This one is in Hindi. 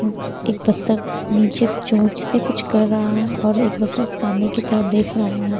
एक बतख नीचे चोंच से कुछ कर रहा है और एक बतख सामने की तरफ देख रहा है।